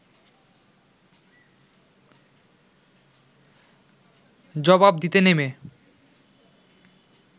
জবাব দিতে নেমে